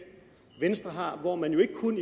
venstre har hvor man jo ikke kun